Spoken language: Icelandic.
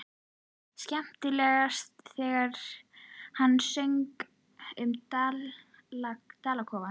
Skemmtilegast þegar hann söng um dalakofann.